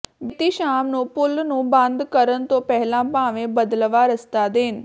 ਬੀਤੀ ਸ਼ਾਮ ਨੂੰ ਪੁੱਲ ਨੂੰ ਬੰਦ ਕਰਨ ਤੋਂ ਪਹਿਲਾਂ ਭਾਵੇਂ ਬਦਲਵਾਂ ਰਸਤਾ ਦੇਣ